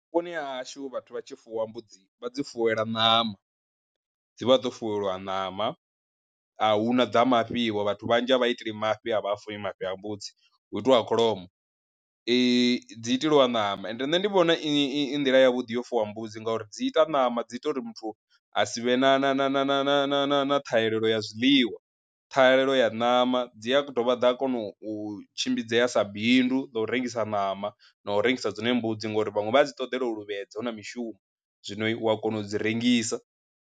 Vhuponi ha hashu vhathu vha tshi fuwa mbudzi vha dzi fuwelwa ṋama, dzi vha dzo fuwelwa ṋama, ahuna dza mafhi vho vhathu vhanzhi a vha iteli mafhi a vha funi mafhi a mbudzi. Hu itiwa kholomo dzi iteliwa ṋama ende ṋne ndi vhona i i i nḓila yavhuḓi yo fuwa mbudzi ngauri dzi ita ṋama dzi ita uri muthu a sivhe na na na na na na na na na ṱhahelelo ya zwiliwa ṱhahelelo ya ṋama dzi a dovha ḓa a kona u tshimbidzela sa bindu ḽa u rengisa ṋama na u rengisa dzine mbudzi ngauri vhaṅwe vha a dzi ṱoḓela u luvhedza hu na mishumo, zwino u ya kona u dzi rengisa.